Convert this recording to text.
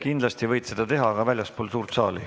Kindlasti võid seda teha, aga väljaspool suurt saali.